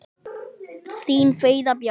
Þín Fríða Björk.